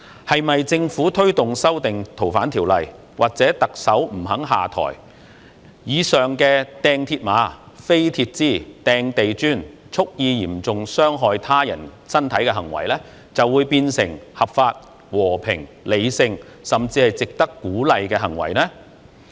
是否政府推動修訂《逃犯條例》或特首不肯下台，以上擲鐵馬、擲鐵枝、擲地磚、蓄意嚴重傷害他人身體的行為就會變成合法、和平、理性，甚至是值得鼓勵呢？